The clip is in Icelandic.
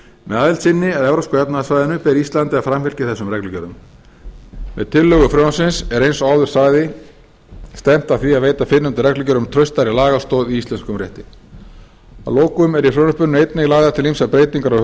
með aðild sinni að evrópska efnahagssvæðinu ber íslandi að framfylgja þessum reglugerðum með tillögu frumvarpsins er eins og áður sagði stefnt að því að veita fyrrnefndum reglugerðum traustari lagastoð í íslenskum rétti að lokum eru í frumvarpinu einnig lagðar til ýmsar breytingar á